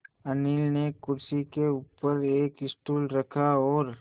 अनिल ने कुर्सी के ऊपर एक स्टूल रखा और